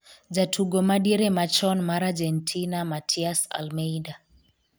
jatugo madiere machon mar Argentina Matias Almeyda